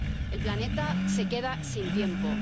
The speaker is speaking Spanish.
El planeta se queda sin tiempo.